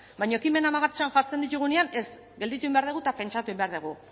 baina ekimenak martxan jartzen ditugunean ez gelditu egin behar dugu eta pentsatu egin behar dugu